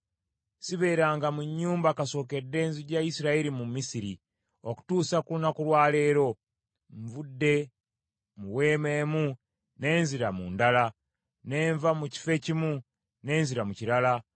Sibeeranga mu nnyumba kasookedde nzija Isirayiri mu Misiri, okutuusa ku lunaku lwa leero. Nvudde mu weema emu ne nzira mu ndala, ne nva mu kifo ekimu ne nzira mu kirala.